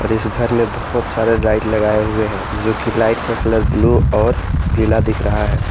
इस घर में बहुत सारे लाइट लगाए हुए हैं जोकि लाइट का कलर ब्लू और पीला दिख रहा है।